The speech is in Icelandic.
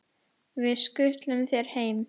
Við skutlum þér heim!